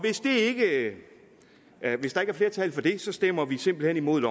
hvis der ikke er flertal for det stemmer vi simpelt hen imod